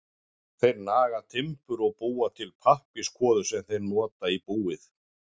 Þeir naga timbur og búa til pappírskvoðu sem þeir nota í búið.